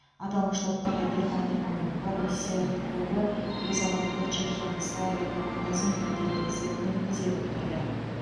аталмыш топтағы германияның боруссия клубы өз алаңында чехияның славия командасын екі де бір есебімен тізе бүктірді